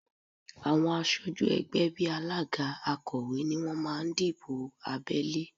Àwọn aṣojú ẹgbẹ́ bí alága, akọ̀wé ni wọ́n máa ń dìbò abẹ́lé